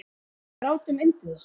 Og við grátum yndið okkar.